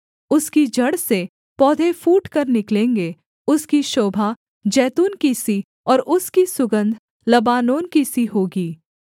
उसकी जड़ से पौधे फूटकर निकलेंगे उसकी शोभा जैतून की सी और उसकी सुगन्ध लबानोन की सी होगी